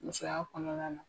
Musoya kɔnɔna na